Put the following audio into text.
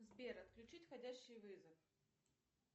сбер отключить входящий вызов